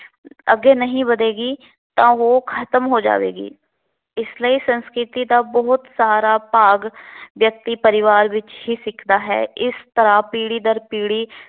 ਅੱਗੇ ਨਹੀਂ ਵੱਧੇਗੀ ਤਾਂ ਉਹ ਖਤਮ ਹੋ ਜਾਵੇਗੀ। ਇਸ ਲਈ ਸੰਸਕ੍ਰਿਤੀ ਦਾ ਬਹੁਤ ਸਾਰਾ ਭਾਗ ਵਿਅਕਤੀ ਪਰਿਵਾਰ ਵਿੱਚ ਹੀ ਸਿੱਖਦਾ ਹੈ। ਇਸ ਤਰ੍ਹਾਂ ਪੀੜੀ ਦਰ ਪੀੜੀ